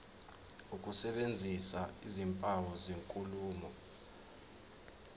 ukusebenzisa izimpawu zenkulumo